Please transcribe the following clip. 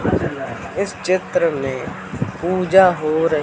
इस चित्र में पूजा हो र--